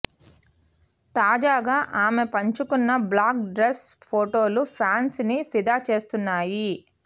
తాజాగా ఆమె పంచుకున్న బ్లాక్ డ్రెస్ ఫోటోలు ఫ్యాన్స్ ని ఫిదా చేస్తున్నాయి